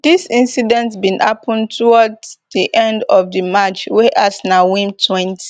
dis incident bin happun towards di end of di match wey arsenal win twenty